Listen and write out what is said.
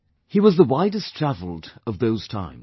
He was the widest travelled of those times